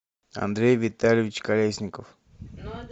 андрей витальевич колесников